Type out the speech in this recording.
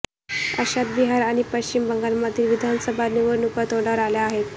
अशात बिहार आणि पश्चिम बंगालमधील विधानसभा निवडणुका तोंडावर आल्या आहेत